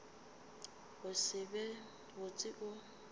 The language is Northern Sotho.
go se be botse o